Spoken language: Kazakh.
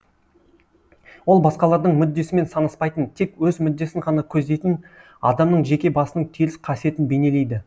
ол басқалардың мүддесімен санаспайтын тек өз мүддесін ғана көздейтін адамның жеке басының теріс қасиетін бейнелейді